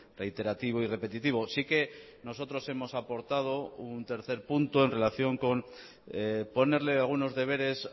reiterativo y repetitivo sí que nosotros hemos aportado un tercer punto en relación con ponerle algunos deberes